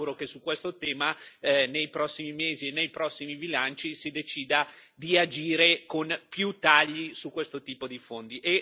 Io mi auguro che su questo tema, nei prossimi mesi e nei prossimi bilanci, si decida di agire con più tagli su questo tipo di fondi.